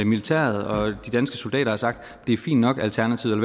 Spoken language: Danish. militæret og de danske soldater har sagt at det er fint nok alternativet